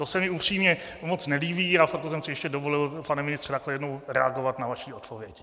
To se mi upřímně moc nelíbí, a proto jsem si ještě dovolil, pane ministře, takto jednou reagovat na vaši odpověď.